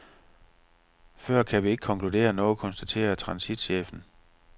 Før kan vi ikke konkludere noget, konstaterer transitchefen.